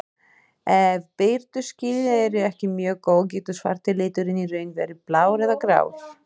Ef birtuskilin eru ekki mjög góð getur svarti liturinn í raun verið blár eða grár.